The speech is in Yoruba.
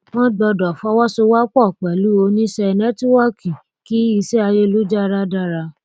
wọn gbọdọ fọwọsowọpọ pẹlú oníṣẹnẹtíwọọkì kí iṣẹ ayélujára dára